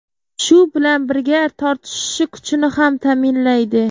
Shu bilan birga tortishishi kuchini ham ta’minlaydi.